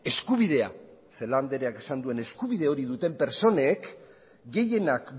eskubidea celaá andreak esan duen eskubide hori duten pertsonek gehienak